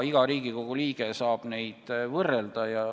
Iga Riigikogu liige saab neid võrrelda.